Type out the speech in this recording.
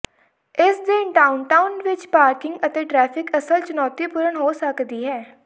ਇਸ ਦਿਨ ਡਾਊਨਟਾਊਨ ਵਿਚ ਪਾਰਕਿੰਗ ਅਤੇ ਟ੍ਰੈਫਿਕ ਅਸਲ ਚੁਣੌਤੀਪੂਰਨ ਹੋ ਸਕਦੀ ਹੈ